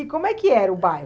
E como é que era o bairro?